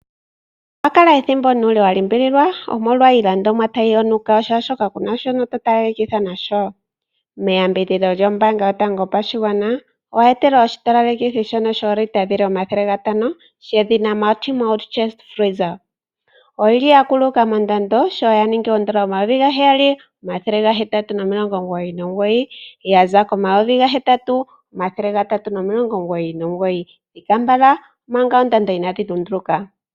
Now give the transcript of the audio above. Owakala ethimbo nuule walimbililwa omolwa iilandomwa tayi yonuka shaashoka kuna sho to talelekitha nasho? Meyambidhidho lyombaanga yotango yopashigwana owa etelwa oshitalelekithi shono shoolita omathele gatano shedhina multi mode chest freezer, oyili ya kuluka mondando sho ya ningi oodola omayovi gaheyali omathele ga hetatu nomilongo omugoyi nomugoyi yaza komayovi gahetatu omathele gatatu nomilongo omugoyi nomugoyi. Yitalela po manga oondando inaadhi lunduluka.